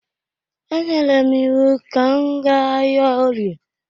E nyere m iwu ka m gaa ahịa orie!